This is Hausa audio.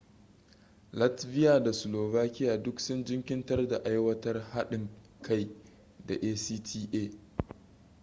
latvia da slovakia duk sun jinkirtar da aiwatar haɗin kai da acta